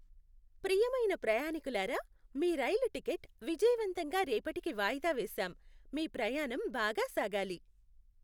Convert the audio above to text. ప్రియమైన ప్రయాణీకులారా, మీ రైలు టికెట్ విజయవంతంగా రేపటికి వాయిదా వేశాం. మీ ప్రయాణం బాగా సాగాలి!